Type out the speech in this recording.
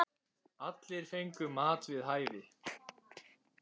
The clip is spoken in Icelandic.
Allir fengu mat við hæfi.